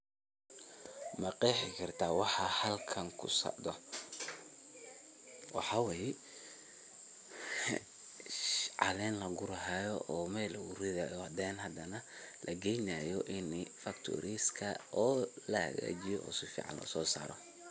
Maqeexi kartah waxa halkan kusocdoh, waxawaye caaleen lagurahayo oo meel lagu rithahayo handanah lageeynayoh ini factory riska oo lahagajeeyoh oo sufican u sosaaroh.